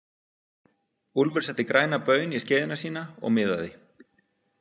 Úlfur setti græna baun í skeiðina sína og miðaði.